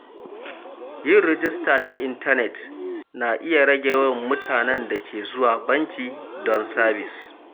Yin rajista ta intanet na iya rage yawan mutanen da ke zuwa banki don sabis.